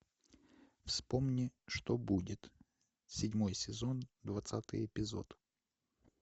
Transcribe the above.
вспомни что будет седьмой сезон двадцатый эпизод